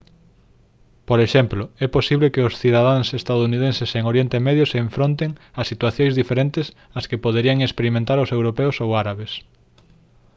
por exemplo é posible que os cidadáns estadounidenses en oriente medio se enfronten a situacións diferentes as que poderían experimentar os europeos ou árabes